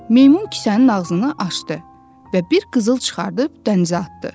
Meymun kisənin ağzını açdı və bir qızıl çıxarıb dənizə atdı.